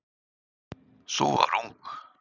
Sú var ung!